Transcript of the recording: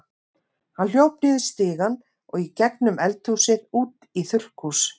Hann hljóp niður stigann og í gegnum eldhúsið út í þurrkhús.